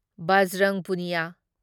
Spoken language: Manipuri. ꯕꯥꯖ꯭ꯔꯪ ꯄꯨꯅꯤꯌꯥ